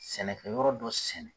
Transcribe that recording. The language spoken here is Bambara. Sɛnɛkɛ yɔrɔ dɔ sɛnɛ